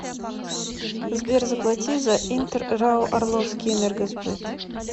сбер заплати за интер рао орловский энергосбыт